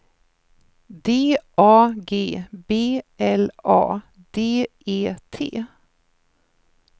D A G B L A D E T